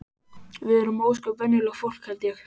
Við erum ósköp venjulegt fólk held ég.